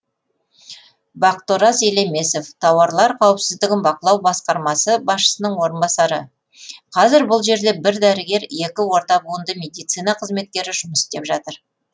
бақытораз елемесов тауарлар қауіпсіздігін бақылау басқармасы басшысының орынбасары қазір бұл жерде бір дәрігер екі орта буынды медицина қызметкері жұмыс істеп жатыр